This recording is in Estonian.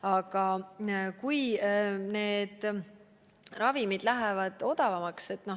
Aga küllap need ravimid lähevad odavamaks.